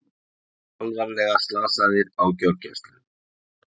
Alvarlega slasaðir á gjörgæslu